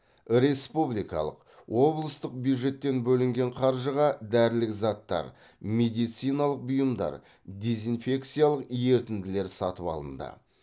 республикалық облыстық бюджеттен бөлінген қаржыға дәрілік заттар медициналық бұйымдар дезинфекциялық ертінділер сатып алынды